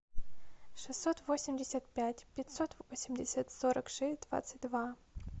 шестьсот восемьдесят пять пятьсот восемьдесят сорок шесть двадцать два